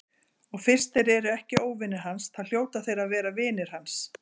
Og fyrst þeir eru ekki óvinir hans þá hljóta þeir að vera vinir hans.